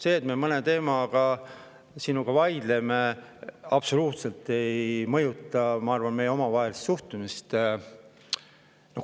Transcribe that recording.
See, et me mõnel teemal sinuga vaidleme, absoluutselt ei mõjuta, ma arvan, meie omavahelist suhtlemist.